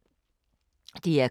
DR K